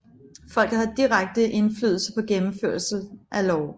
Folket har direkte indflydelse på gennemførelsen af love